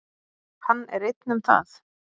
Hann er einn um það.